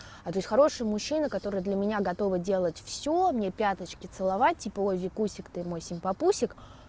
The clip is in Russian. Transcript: а о есть хороший мужчина который для меня готовый делать всё мне пяточки целовать типа о викусик ты мой симпампусик